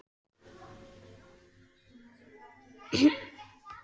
Áhyggjuskýjum augnanna hefði ég bægt frá með blævængjum handanna.